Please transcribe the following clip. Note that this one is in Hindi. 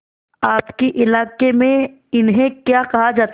आपके इलाके में इन्हें क्या कहा जाता है